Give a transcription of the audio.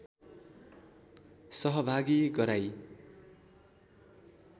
सहभागी गराई